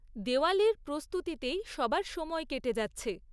দেওয়ালির প্রস্তুতিতেই সবার সময় কেটে যাচ্ছে।